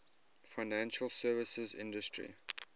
financial services industry